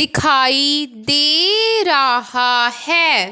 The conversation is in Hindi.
दिखाई दे रहा है।